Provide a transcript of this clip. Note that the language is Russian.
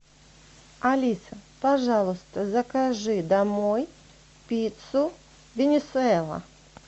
алиса пожалуйста закажи домой пиццу венесуэла